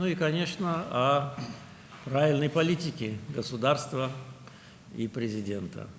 Və, əlbəttə, dövlətin və Prezidentin düzgün siyasətindən xəbər verir.